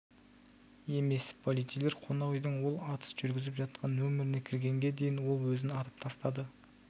емес полицейлер қонақ үйдің ол атыс жүргізіп жатқан номеріне кіргенге дейін ол өзін атып тастады